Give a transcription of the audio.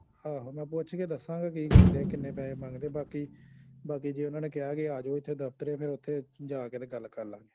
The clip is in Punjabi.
ਆਹੋ ਮੈ ਪੁੱਛ ਕੇ ਦੱਸਾਗਾ ਕਿ ਕਹਿੰਦੇ ਕਿੰਨੇ ਪੈਹੇ ਮੰਗਦੇ ਬਾਕੀ ਬਾਕੀ ਜੇ ਓਹਨਾ ਨੇ ਕਿਆ ਕੀ ਆਜੋ ਇਥੇ ਦਫਤਰੇ ਫੇਰ ਓਥੇ ਜਾ ਕੇ ਤੇ ਗੱਲ ਕਰਲਾ ਗੇ